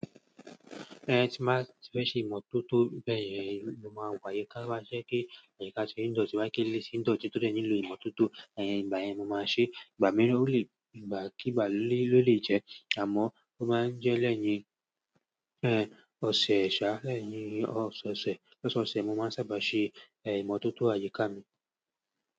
Ẹn, tí mbá ti fẹ́ ṣe ìmọ̀tótó bẹ́ẹ̀ yẹn, mo máa wáye ká máa ṣẹ́ kí àyíká ṣe ń dọ̀tí bá kí lé ṣì ń dọ̀tí tó dé ẹni lò ìmọ̀tótó, ẹyin ìgbà yẹn mo máa ṣe. Ìgbà mìíràn ó lè ìgbàkígbà lólè jẹ, àmọ́ ó máa ń jẹ́ lẹ́yìn ẹ́n ọ̀sẹ̀, ṣá lẹ́yìn ọ̀sán ọ̀sẹ̀. Lọ́sọsẹ̀ mo máa ń sábà ṣe ẹ̀ ìmọ̀tótó àyíká mi.